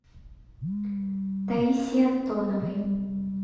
таисии антоновой